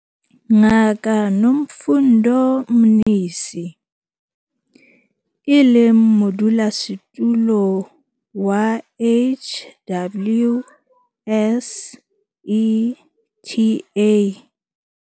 Ngaka Nomfundo Mnisi, e leng Modulasetulo wa HWSETA.